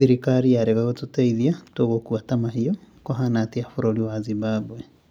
Thirikari yarega gũtũteithia, tũgũkua ta mahiũ, kũhana atia bũrũri wa Zimbambwe